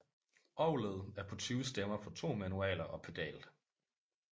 Orgelet er på 20 stemmer på to manualer og pedal